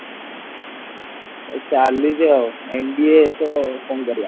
ଚାଳିଚି ଆଉ MBA ତ ଆଉ କଣ କରିବା